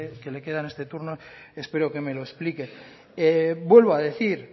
que le queda en este turno espero que me lo explique vuelvo a decir